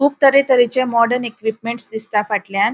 खूब तर्हे तर्हेचे मॉडर्न एकीपमेंट्स दिसता फाटल्यान.